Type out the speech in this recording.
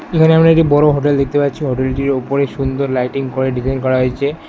এখানে আমরা একটি বড়ো হোটেল দেখতে পাচ্ছি হোটেলটির ওপরে সুন্দর লাইটিং করে ডিজাইন করা হয়েছে।